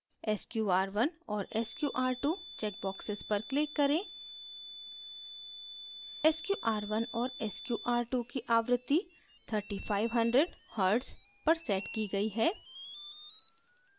sqr1 और sqr2 checkboxes पर click करें sqr1 और sqr2 की आवृत्ति 3500hz पर set की गयी है